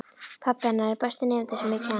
Pabbi hennar er besti nemandi sem ég hef kennt.